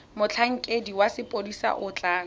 motlhankedi wa sepodisi o tla